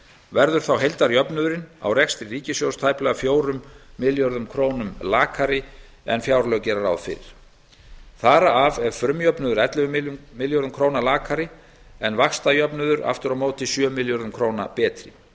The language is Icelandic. verður þá heildarjöfnuðurinn á rekstri ríkissjóðs tæplega fjórum milljörðum króna lakari en gert er ráð fyrir í fjárlögum þar af er frumjöfnuður ellefu milljörðum króna lakari en vaxtajöfnuður aftur á móti sjö milljörðum króna betri